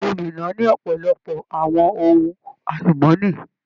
Ilú Minna ni ọpọlọpọ àwọn ohùn alumọni.